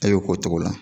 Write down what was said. A y'o k'o cogo la